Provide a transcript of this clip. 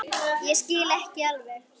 Ég skil ekki alveg